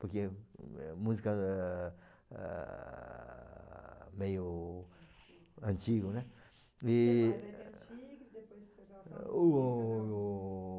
Porque é música ah... ah... meio antigo, né? E... antigo, depois você O...